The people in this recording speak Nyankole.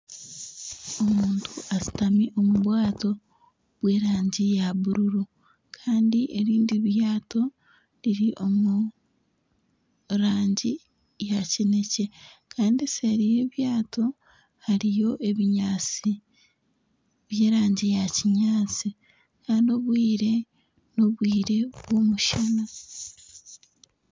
Omuntu ashutami omu bwato bw'erangi ya bururu kandi erindi ryato riri omu rangi ya kinekye kandi seeri y'eryato hariyo ebinyaatsi by'erangi ya kinyaatsi kandi obwire n'obwire bw'omushana